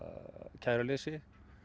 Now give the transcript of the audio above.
kæruleysi